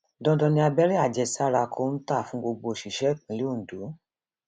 dandan ni abẹrẹ àjẹsára kọńtà fún gbogbo òṣìṣẹ ìpínlẹ ondo